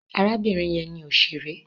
Arábìnrin yẹn ni òṣèré.